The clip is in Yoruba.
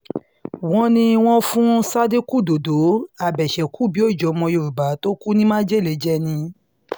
wọ́n ní wọ́n fún sádíkù dọ́dọ̀ abèṣe-kù-bíi-ọjọ́ ọmọ yorùbá tó kú ní májèlé májèlé jẹ́ ni